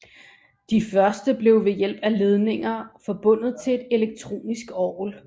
De første blev ved hjælp af ledninger forbundet til et elektronisk orgel